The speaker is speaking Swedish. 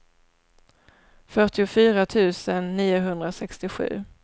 fyrtiofyra tusen niohundrasextiosju